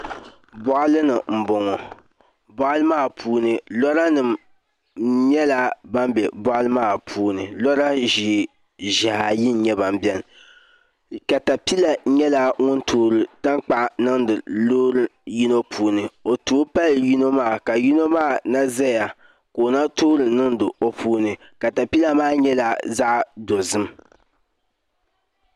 Boɣali ni n boŋo boɣali maa puuni lora nim nyɛla ban bɛ boɣali maa puuni lora ʒiɛhi ayi n nyɛba biɛni latapila nyɛla ŋun toori tankpaɣu niŋdi loori yino puuni o tooi pali yino maa ka yino maa na ʒɛya ka o toori niŋdi o puuni katapila maa nyɛla zaɣ dozim